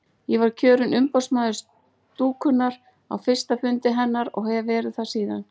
Ég var kjörinn umboðsmaður stúkunnar á fyrsta fundi hennar og hef verið það síðan.